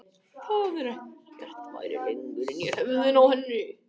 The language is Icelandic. Það var eins og ekkert væri lengur inni í höfðinu á henni.